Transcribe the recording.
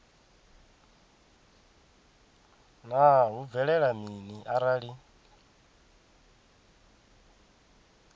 naa hu bvelela mini arali